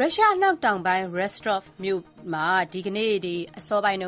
ရုရှား အနောက်တောင်ပိုင်း Rostov ဒေသမှာ ဒီကနေ့ အစောပိုင်း